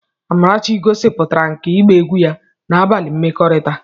Amarachi gosipụtara nkà ịgba egwu ya na abalị mmekọrịta.